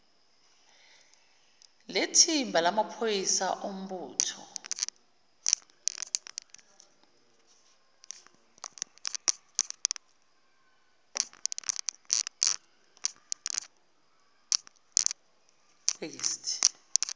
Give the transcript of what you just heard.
lethimba lamaphoyisa ombutho